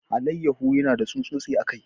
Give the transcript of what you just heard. Alayyahon yana da tsutsotsi a kai.